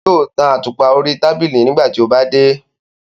Yóò tan àtùpà orí tábìlì nígbà tí ó bá dé.